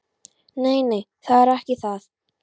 Nei, nei, það er ekki það.